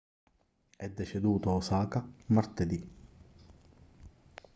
è deceduto a osaka martedì